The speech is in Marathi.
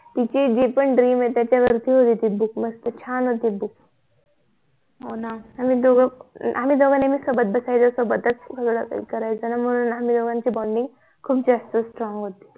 तिचे जे पण DREAM आहेत त्याच्यावरती होती ती BOOK मस्त छान होते BOOK हो ना आम्ही दोघ आम्ही दोघ नेहमी सोबत बसायचो सोबतच सगळं करायचो ना म्हणून आम्ही दोघांची BONDING खूप जास्त STRONG होती